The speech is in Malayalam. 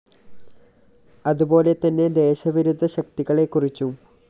അതുപോലെ തന്നെ ദേശവിരുദ്ധ ശക്തികളെക്കുറിച്ചും